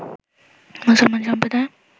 মুসলমান সম্প্রদায়